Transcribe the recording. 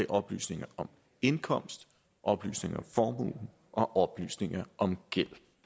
oplysninger om indkomst oplysninger om formue og oplysninger om gæld